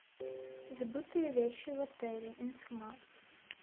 забытые вещи в отеле информация